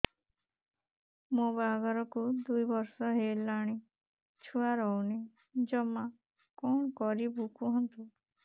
ମୋ ବାହାଘରକୁ ଦୁଇ ବର୍ଷ ହେଲାଣି ଛୁଆ ରହୁନି ଜମା କଣ କରିବୁ କୁହନ୍ତୁ